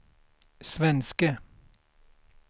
svenske